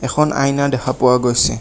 এখন আইনা দেখা পোৱা গৈছে।